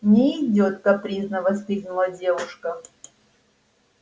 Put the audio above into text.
не идёт капризно воскликнула девушка